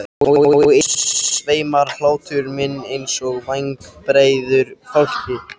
Og yfir þeim sveimar hlátur minn einsog vængjabreiður fálki.